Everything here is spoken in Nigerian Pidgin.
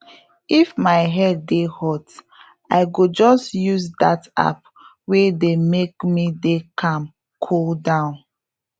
if my head dey hot i go just use that app wey dey make me dey calm cool down